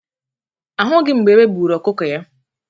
A hụghị m mgbe egbe buru ọkụkọ ya.